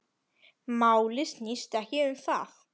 Málið snýst ekki um það.